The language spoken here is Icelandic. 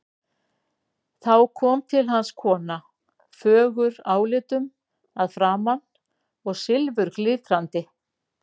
Þá kom til hans kona, fögur álitum að framan og silfurglitrandi.